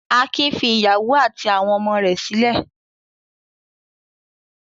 Akin fi ìyàwó àti àwọn ọmọ rẹ̀ sílẹ̀.